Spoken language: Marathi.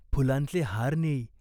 फुलांचे हार नेई.